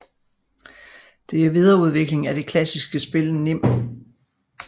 Det er videreudvikling af det klassiske spil nim